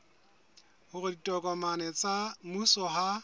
hore ditokomane tsa mmuso ha